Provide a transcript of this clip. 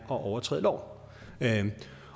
at overtræde loven